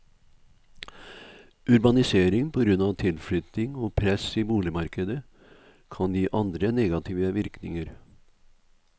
Urbanisering på grunn av tilflytting og press i boligmarkedet, kan gi andre negative virkninger.